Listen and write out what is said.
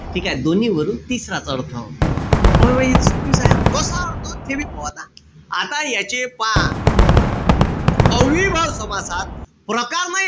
ठीकेय? दोन्हीवरून तिसराच अर्थ. अरे हे त सोपीच हाये. कसा अर्थ ते बी पाहू आता. आता याचे पहा, अव्ययीभाव समासात प्रकार नाई